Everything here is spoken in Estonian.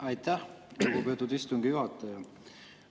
Aitäh, lugupeetud istungi juhataja!